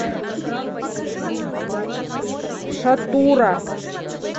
шатура